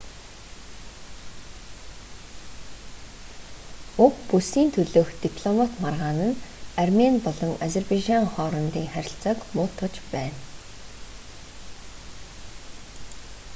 уг бүсийн төлөөх дипломат маргаан нь армени болон азербайжан хоорондын харилцааг муутгаж байна